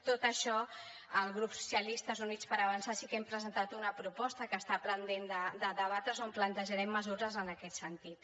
tot això el grup socialistes i units per avançar sí que hem presentat una proposta que està pendent de debatre’s on plantejarem mesures en aquest sentit